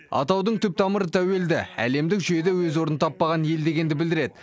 атаудың түп тамыры тәуелді әлемдік жүйеде өз орнын таппаған ел дегенді білдіреді